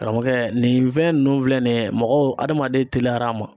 Karamɔgɔkɛ nin fɛn nunnu filɛ nin ye ,mɔgɔ adamaden teliyara a ma.